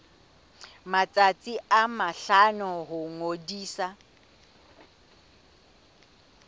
matsatsi a mahlano ho ngodisa